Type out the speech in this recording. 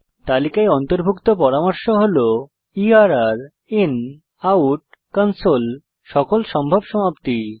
তালিকায় অন্তর্ভুক্ত পরামর্শ হল ইআরআর inoutকনসোল সকল সম্ভব সমাপ্তি